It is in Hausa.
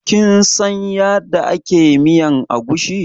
Kin san yada ake miyan agushi?